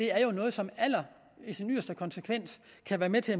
er noget som i sin yderste konsekvens kan være med til